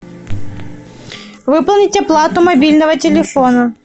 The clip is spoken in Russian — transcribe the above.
выполнить оплату мобильного телефона